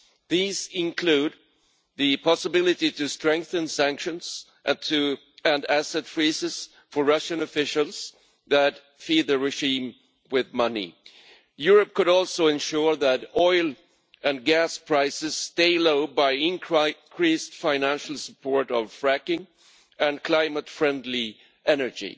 These include the possibility of strengthening sanctions and asset freezes for Russian officials that feed the regime with money. Europe could also ensure that oil and gas prices stay low by increasing financial support for fracking and climate friendly energy.